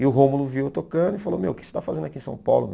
E o Rômulo viu eu tocando e falou, meu, o que você está fazendo aqui em São Paulo?